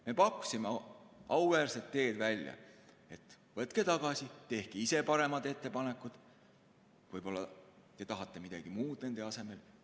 Me pakkusime auväärset teed: võtke tagasi, tehke ise paremad ettepanekud, võib-olla te tahate midagi muud nende asemel.